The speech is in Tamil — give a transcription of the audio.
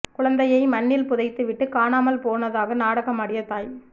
குழந்தையை மண்ணில் புதைத்துவிட்டு காணாமல் போனதாக நாடகமாடிய தாய்